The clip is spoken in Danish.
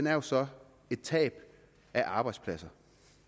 er jo så et tab af arbejdspladser